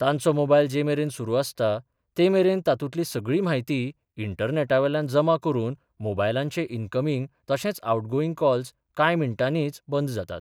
तांचो मोबायल जे मेरेन सुरू आसता, ते मेरेन तांतूतली सगळी म्हायती इंटरनेटावेल्यान जमा करून मोबयलाचें इनकमींग तशेंच आवटगोईंग कॉल्स कांय मिनटांनीच बंद जातात.